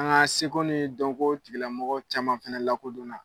An ka seko ni dɔnko tigilamɔgɔ caman fana lakodon na.